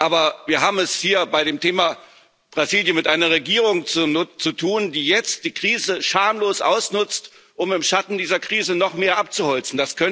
Aber wir haben es hier bei dem Thema Brasilien mit einer Regierung zu tun, die jetzt die Krise schamlos ausnutzt, um im Schatten dieser Krise noch mehr abzuholzen.